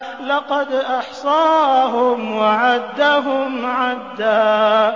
لَّقَدْ أَحْصَاهُمْ وَعَدَّهُمْ عَدًّا